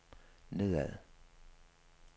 nedad